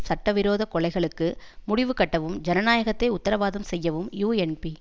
சட்டவிரோத கொலைகளுக்கு முடிவுகட்டவும் ஜனநாயகத்தை உத்தரவாதம் செய்யவும் யூஎன்பி